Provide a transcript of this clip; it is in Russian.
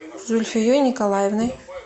зульфией николаевной